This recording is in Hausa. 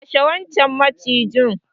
Kashe wancan macijin.